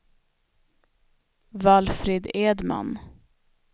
Valfrid Edman